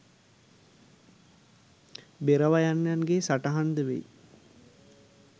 බෙර වයන්නන්ගේ සටහන්ද වෙයි